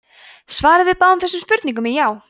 svarið við báðum þessum spurningum er já!